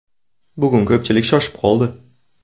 Bugun ko‘pchilik shoshib qoldi.